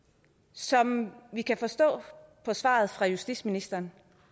som vi kan forstå på svaret fra justitsministeren